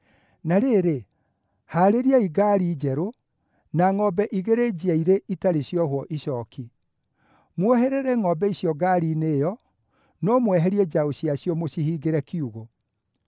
“Na rĩrĩ, haarĩriai ngaari njerũ, na ngʼombe igĩrĩ njiairĩ itarĩ ciohwo icooki. Muoherere ngʼombe icio ngaari-inĩ ĩyo, no mweherie njaũ ciacio mũcihingĩre kiugũ.